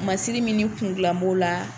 Masiri min kundilan b'o la